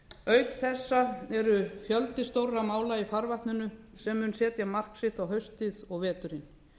auk þessa er fjöldi stórra mála í farvatninu sem mun setja mark sitt á haustið og veturinn